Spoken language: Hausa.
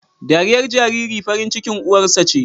Dariyar jariri farin cikin uwarsa ce